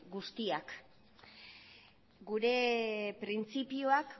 guztiak gure printzipioak